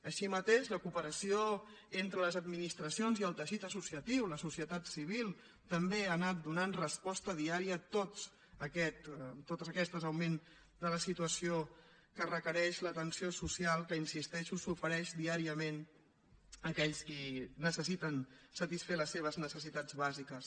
així mateix la cooperació entre les administracions i el teixit associatiu la societat civil també ha anat donant resposta diària a tot aquest augment de la situació que requereix l’atenció social que hi insisteixo s’ofereix diàriament a aquells que necessiten satisfer les seves necessitats bàsiques